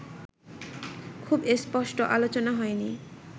খুব স্পষ্ট আলোচনা হয় নি